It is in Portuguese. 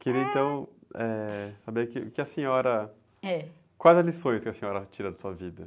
Quero então, eh, saber que, que a senhora... Quais as lições que a senhora tira da sua vida?